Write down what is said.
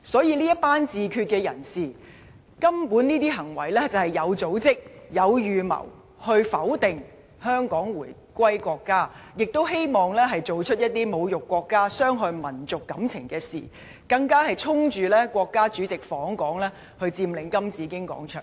這群自決派人士的行為，無疑是有組織、有預謀去否定香港回歸國家的意義，亦希望做出一些侮辱國家、傷害民族感情的事，更是衝着國家主席訪港，佔領金紫荊廣場。